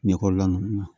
Ɲɛkɔla ninnu na